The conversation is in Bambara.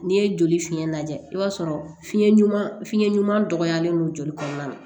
N'i ye joli fiɲɛ lajɛ i b'a sɔrɔ fiɲɛ ɲuman fiyɛn ɲuman dɔgɔyalen don joli kɔnɔna na